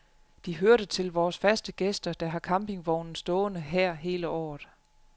De hørte til vores faste gæster, der har campingvognen stående her hele året.